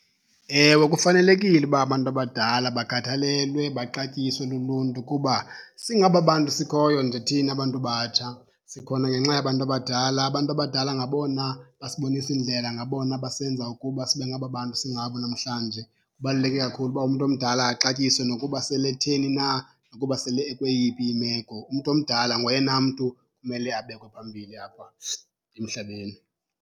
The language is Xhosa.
Ewe, kufanelekile uba abantu abadala bakhathalelwe, baxatyisiwe luluntu kuba singaba bantu sikhoyo nje thina bantu batsha sikhona ngenxa yabantu abadala. Abantu abadala ngabona basibonisa indlela, ngabona basenza ukuba sibe ngaba bantu singabo namhlanje. Kubaluleke kakhulu uba umntu omdala axatyisiwe nokuba sele etheni na, nokuba sele ekweyiphi imeko. Umntu omdala ngoyena mntu kumele abekwe phambili apha emhlabeni.